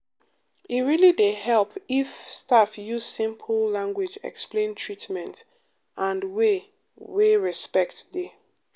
e really dey help if staff use simple language explain treatment um and way wey respect dey.